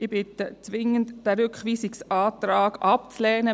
Ich bitte zwingend darum, diesen Rückweisungsantrag abzulehnen.